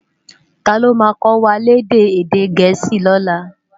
Táló má kòwá lèdè èdè Gẹẹsi lòlå?